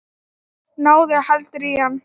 Náðu heldur í hann.